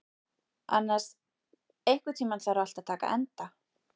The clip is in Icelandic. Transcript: Annas, einhvern tímann þarf allt að taka enda.